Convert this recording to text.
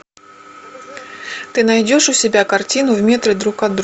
ты найдешь у себя картину в метре друг от друга